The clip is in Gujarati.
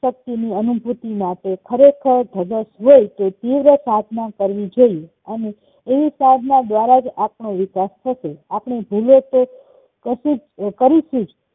શક્તિની અનુભૂતિ માટે ખરેખર ધગશ હોઈ તો દિવ્ય પ્રાર્થના કરાવી જોયે અને એવી સાધના દ્વારાજ આપણો વિકાસ થશે આપણે જીવીયે તે કશુંજ કરિશુંજ